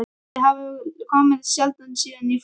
Þau hafa komið sjaldan síðan ég fór.